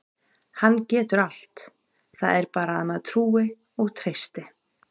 Hann getur allt, það er bara að maður trúi og treysti.